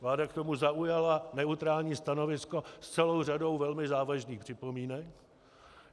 Vláda k tomu zaujala neutrální stanovisko s celou řadou velmi závažných připomínek.